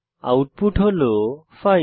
output হল 5